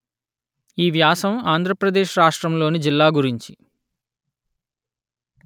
ఈ వ్యాసం ఆంధ్ర ప్రదేశ్ రాష్ట్రములోని జిల్లా గురించి